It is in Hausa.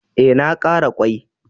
E, na ƙara ƙwai.